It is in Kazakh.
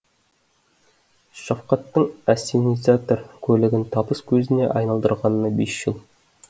шафкаттың ассенизатор көлігін табыс көзіне айналдырғанына бес жыл